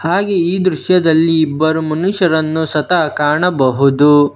ಹಾಗೇ ಈ ದೃಶ್ಯದಲ್ಲಿ ಇಬ್ಬರು ಮನುಷ್ಯರನ್ನು ಸತ ಕಾಣಬಹುದು.